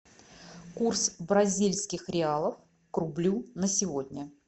курс бразильских реалов к рублю на сегодня